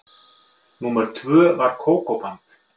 Númer tvö var Kókó-band.